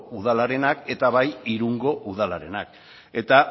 udalarenak eta bai irungo udalarenak eta